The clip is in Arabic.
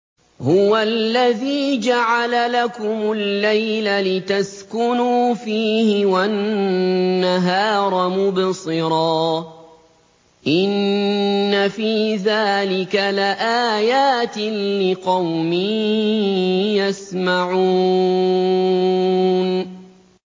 هُوَ الَّذِي جَعَلَ لَكُمُ اللَّيْلَ لِتَسْكُنُوا فِيهِ وَالنَّهَارَ مُبْصِرًا ۚ إِنَّ فِي ذَٰلِكَ لَآيَاتٍ لِّقَوْمٍ يَسْمَعُونَ